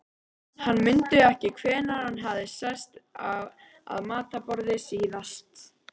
Hann mundi ekki hvenær hann hafði sest að matarborði síðast.